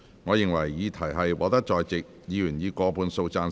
我認為議題獲得在席議員以過半數贊成。